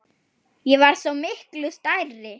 Ég var svo miklu stærri.